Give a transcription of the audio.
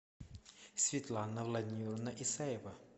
светлана владимировна исаева